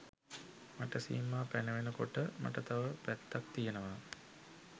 මට සීමා පැනවෙන කොට මට තව පැත්තක් තියනවා